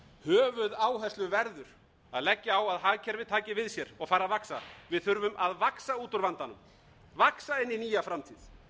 höfuðáherslu verður að leggja á að hagkerfið taki við sér og fari að vaxa við þurfum að vaxa út úr vandanum vaxa inn í nýja framtíð